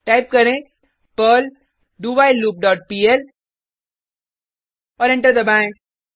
type करें Perl do while loop dot PL और enter दबाएँ